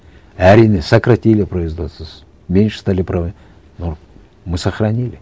әрине сократили производство меньше стали но мы сохранили